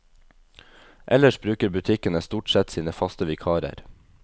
Ellers bruker butikkene stort sett sine faste vikarer.